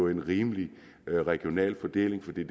en rimelig regional fordeling for det